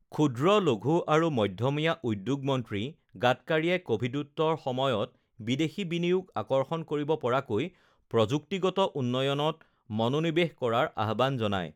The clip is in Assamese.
ক্ষূদ্ৰ, লঘূ আৰু মধ্যমীয়া উদ্যোগ মন্ত্ৰী গাডকাৰিয়ে কভিডোত্তৰ সময়ত বিদেশী বিনিয়োগ আকৰ্ষণ কৰিব পৰাকৈ প্ৰযুক্তিগত উন্নয়নত মনোনিৱেশ কৰাৰ আহ্বান জনায়